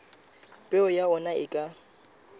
peo ya ona e ka